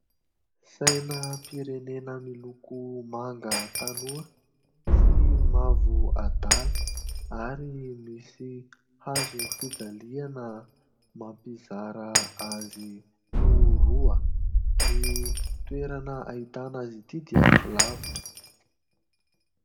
Sainam-pirenena miloko manga tanora sy mavo adala ary misy hazofijaliana mampizara azy ho roa. Ny toerana ahitana azy ity dia tsy lavitra.